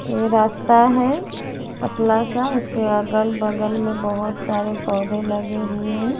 ये रास्ता है पतला सा उसके अगल बगल में बहुत सारे पौधे लगे हुए हैं।